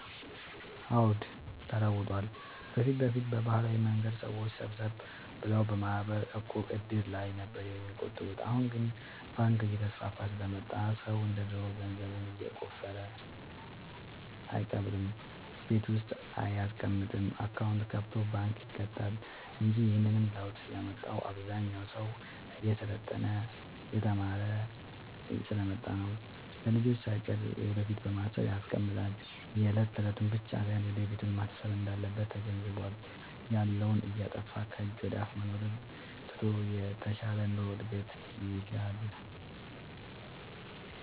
አዎድ ተለውጧል በፊት በፊት በባህላዊ መንገድ ሰዎች ሰብሰብ ብለው በማህበር፣ ዕቁብ፣ እድር ላይ ነበር የሚቆጥቡት አሁን ግን ባንክ እየተስፋፋ ስለመጣ ሰው እንደ ድሮ ገንዘቡን የቆፈረ አይቀብርም ቤት ውስጥ አይያስቀምጥም አካውንት ከፋቶ ባንክ ይከታል እንጂ ይህንንም ለውጥ ያመጣው አብዛኛው ሰው እየሰለጠነ የተማረ ስሐ ስለመጣ ነው። ለልጅቹ ሳይቀር ለወደፊት በማሰብ ያስቀምጣል የለት የለቱን ብቻ ሳይሆን ለወደፊቱም ማሰብ እንዳለበት ተገንዝቧል። ያለውን እያጠፋፋ ከጅ ወደአፋ መኖሩን ትቶ የተሻለ ኑሮ እድገት ይሻል።